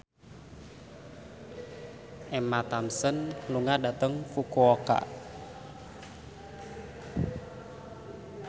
Emma Thompson lunga dhateng Fukuoka